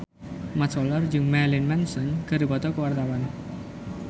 Mat Solar jeung Marilyn Manson keur dipoto ku wartawan